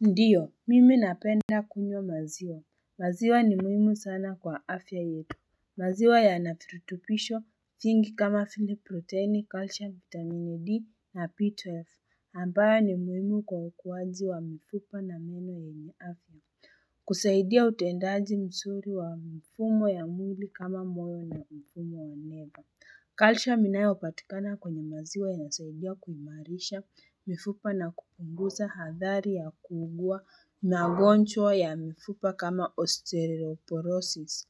Ndiyo mimi napenda kunywa maziwa maziwa ni muhimu sana kwa afya yetu maziwa yana virutubisho vingi kama vile proteni calcium vitamin D na B12 ambayo ni muhimu kwa ukuwaji wa mifupa na meno yenye afya kusaidia utendaji mzuri wa mfumo ya mwili kama mwoyo na mfumo wa neva Calcium inayopatikana kwenye maziwa inasaidia kuimarisha, mifupa na kupunguza, hadhari ya kuugua, magonjwa ya mifupa kama osteoporosis.